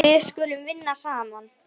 Við skulum vinna saman.